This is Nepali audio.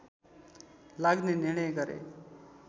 लाग्ने निर्णय गरे